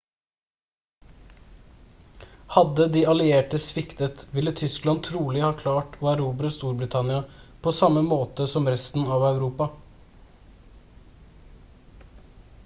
hadde de allierte sviktet ville tyskland trolig ha klart å erobre storbritannia på samme måte som resten av europa